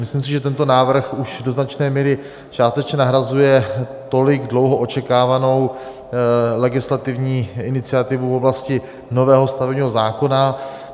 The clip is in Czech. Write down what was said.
Myslím si, že tento návrh už do značné míry částečně nahrazuje tolik dlouhou očekávanou legislativní iniciativu v oblasti nového stavebního zákona.